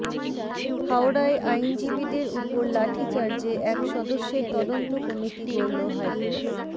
হাওড়ায় আইনজীবীদের উপর লাঠিচার্জে এক সদস্যের তদন্ত কমিটি গড়ল হাইকোর্ট